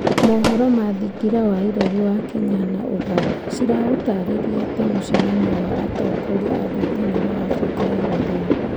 Mohoro ma thingira wa iregi wa Kenya na Uganda ciraũtarĩria ta mũcemanio wa atongoria a ngwatanĩro ya Afrika ya irathĩro.